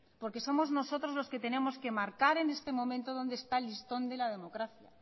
porque somos nosotros los que tenemos que marcar en este momento donde está el listón de la democracia